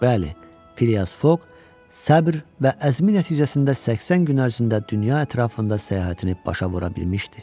Bəli, Fliyas Foqq səbr və əzmi nəticəsində 80 gün ərzində dünya ətrafında səyahətini başa vura bilmişdi.